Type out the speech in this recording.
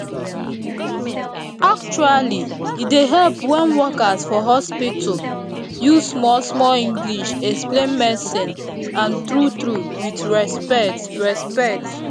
actually e dey help wen workers for hospitu use small small english explain medicine and true true with respect respect